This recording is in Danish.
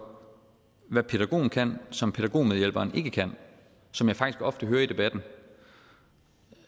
hvad pædagogen kan som pædagogmedhjælperen ikke kan som jeg faktisk ofte hører i debatten